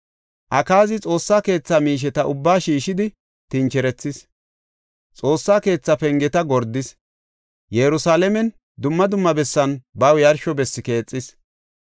Akaazi Xoossa keetha miisheta ubbaa shiishidi tincherethis. Xoossa keethaa pengeta gordis. Yerusalaamen dumma dumma bessan baw yarsho bessi keexis.